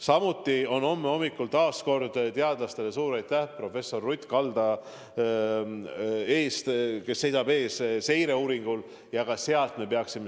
Samuti me peaksime homme hommikul – taas teadlastele suur aitäh, professor Ruth Kalda seisab selle seireuuringu eest!